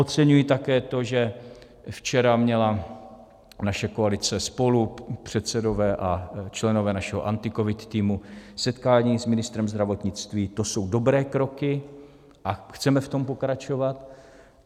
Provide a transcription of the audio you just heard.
Oceňuji také to, že včera měla naše koalice SPOLU, předsedové a členové našeho AntiCovid týmu setkání s ministrem zdravotnictví, to jsou dobré kroky a chceme v tom pokračovat.